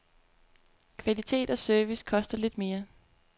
Kvalitet og service koster lidt mere.